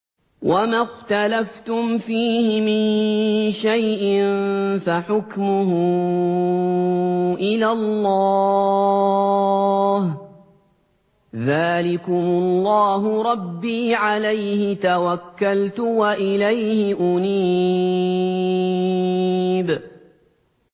وَمَا اخْتَلَفْتُمْ فِيهِ مِن شَيْءٍ فَحُكْمُهُ إِلَى اللَّهِ ۚ ذَٰلِكُمُ اللَّهُ رَبِّي عَلَيْهِ تَوَكَّلْتُ وَإِلَيْهِ أُنِيبُ